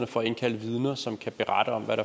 for at indkalde vidner som kan berette om hvad